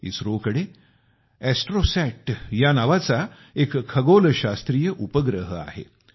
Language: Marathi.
इस्रोकडे एस्ट्रोसॅट नावाचा एक खगोलशास्त्रीय उपग्रह आहे